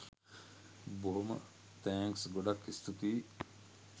බොහොම තෑන්ක්ස් ගොඩක් ස්තුතියි